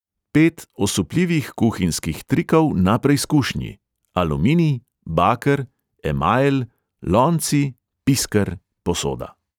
Pet osupljivih kuhinjskih trikov na preizkušnji: aluminij, baker, emajl, lonci, pisker, posoda.